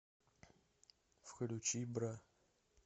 включи бра